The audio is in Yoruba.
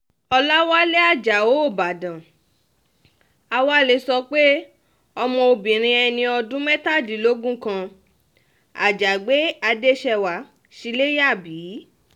ọ̀làwálẹ̀ ajáò ìbàdàn a wá lè sọ pé ọmọbìnrin ẹni ọdún mẹ́tàdínlógún kan àjàgbé adéṣèwá sí ilé yá bí